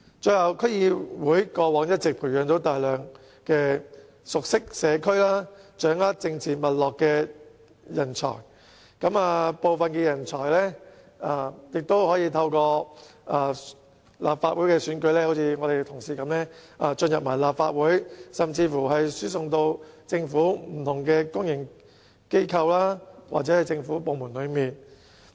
最後，區議會過往一直培養大量熟悉社區、掌握政治脈絡的人才，部分人才更可透過立法會選舉，正如我們的同事般進入立法會，甚至輸送至不同公營機構或政府部門。